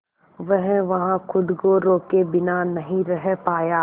वह वहां खुद को रोके बिना नहीं रह पाया